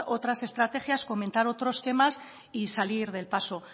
otras estrategias comentar otros temas y salir del paso